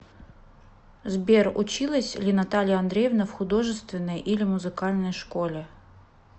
сбер училась ли наталья андреевна в художественной или музыкальной школе